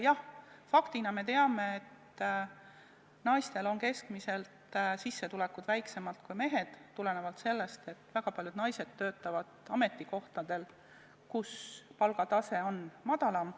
Jah, faktina me teame, et naistel on keskmiselt sissetulekud väiksemad kui meestel, tulenevalt sellest, et väga paljud naised töötavad ametikohtadel, kus palgatase on madalam.